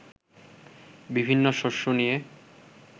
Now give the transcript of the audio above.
বিভিন্ন শস্য নিয়ে